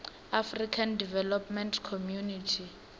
african development community